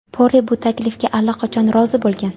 Pore bu taklifga allaqachon rozi bo‘lgan.